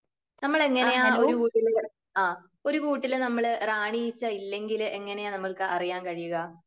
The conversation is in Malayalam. നമ്മൾ എങ്ങനെയാ, ഒരു കൂട്ടിൽ ആ ഒരു കൂട്ടിൽ നമ്മൾ റാണി ഈച്ച ഇല്ലെങ്കിൽ എങ്ങനെയാ നമ്മൾക്ക് അറിയാൻ കഴിയുക?